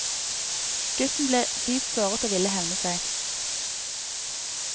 Gutten ble dypt såret og ville hevne seg.